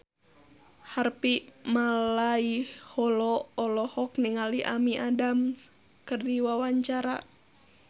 Harvey Malaiholo olohok ningali Amy Adams keur diwawancara